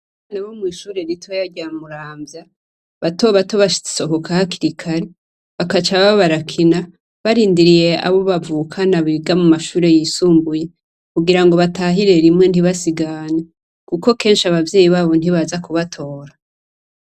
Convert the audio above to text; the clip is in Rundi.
Abanyeshure bomwishure ritoya rya muramya batobato basohoka hakiri kare bakaca baba barakina barindiriye abo bavukana biga mumashure yisumbuye kugira batahire rimwe ntibasigane kuko kenshi abavyeyi babo ntibaza kubatora